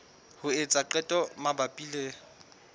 ho etsa qeto mabapi le